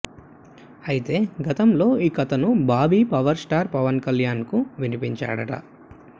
అయితే గతంలో ఈ కథను బాబీ పవర్ స్టార్ పవన్ కళ్యాణ్కు వినిపించాడట